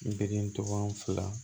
N den tɔgɔ fila